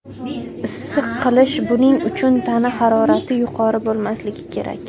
Issiq qilish Buning uchun tana harorati yuqori bo‘lmasligi kerak.